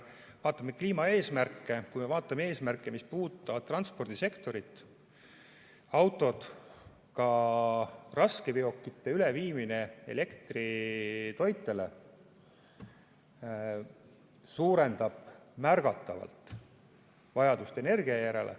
Vaatame kliimaeesmärke, vaatame eesmärke, mis puudutavad transpordisektorit: autode, ka raskeveokite üleviimine elektritoitele suurendab märgatavalt vajadust energia järele.